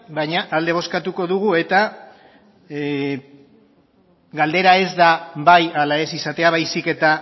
baina alde bozkatuko dugu eta galdera ez da bai ala ez izatea baizik eta